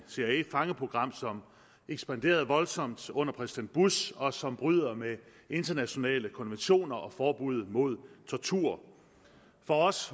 cia fangeprogram som ekspanderede voldsomt under præsident bush og som bryder med internationale konventioner og forbud mod tortur for os